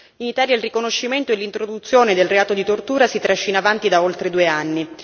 In Italia il riconoscimento e l'introduzione del reato di tortura si trascina avanti da oltre due anni.